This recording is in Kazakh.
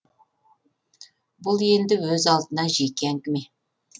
бұл енді өз алдына жеке әңгіме